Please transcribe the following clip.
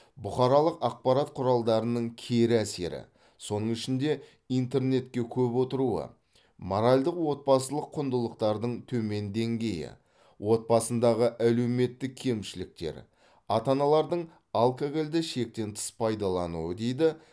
бұқаралық ақпарат құралдарының кері әсері соның ішінде интернетке көп отыруы моральдық отбасылық құндылықтардың төмен деңгейі отбасындағы әлеуметтік кемшіліктер ата аналардың алкогольді шектен тыс пайдалануы дейді